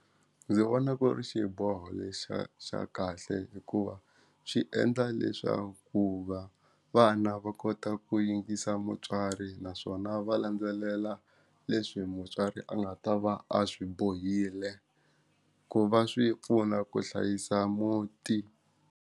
Ndzi vona ku ri xiboho lexi xa xa kahle hikuva swi endla leswakuva vana va kota ku yingisa mutswari naswona va landzelela leswi mutswari a nga ta va a swi bohile ku va swi pfuna ku hlayisa muti.